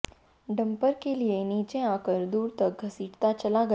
dumper के पहिए नीचे आकर दूर तक घसीटता चला गया